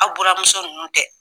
Aw buranmuso ninnu dɛ